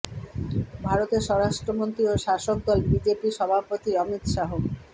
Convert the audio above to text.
ভারতের স্বরাষ্ট্রমন্ত্রী ও শাসক দল বিজেপির সভাপতি অমিত শাহ